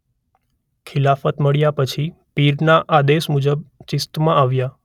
ખિલાફત મળ્યા પછી પીરના આદેશ મુજબ ચિશ્તમાં આવ્યા